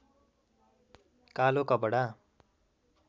कालो कपडा